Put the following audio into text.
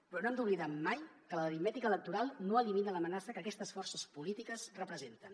però no hem d’oblidar mai que l’aritmètica electoral no elimina l’amenaça que aquestes forces polítiques representen